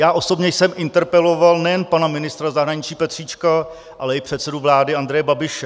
Já osobně jsem interpeloval nejen pana ministra zahraničí Petříčka, ale i předsedu vlády Andreje Babiše.